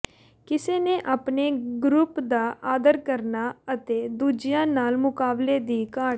ਕਿਸੇ ਦੇ ਆਪਣੇ ਗਰੁਪ ਦਾ ਆਦਰ ਕਰਨਾ ਅਤੇ ਦੂਜਿਆਂ ਨਾਲ ਮੁਕਾਬਲੇ ਦੀ ਘਾਟ